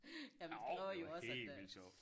Jamen det kræver jo også at øh